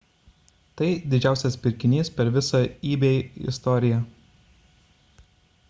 tai didžiausias pirkinys per visą ebay istoriją